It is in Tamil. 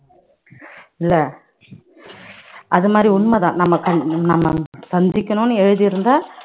இல்ல அது மாதிரி உண்மைதான் நம்ம நம்ம சந்திக்கணும்னு எழுதி இருந்தா